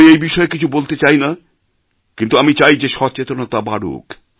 আমি এই বিষয়ে কিছু বলতে চাই না কিন্তু আমি চাই যে সচেতনতা বাড়ুক